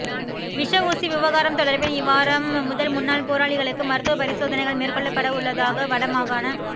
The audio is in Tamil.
விஷ ஊசி விவகாரம் தொடர்பில் இவ்வாரம் முதல் முன்னாள் போராளிகளுக்கு மருத்துவப் பரிசோதனைகள் மேற்கொள்ளப்படவுள்ளதாக வட மாகாண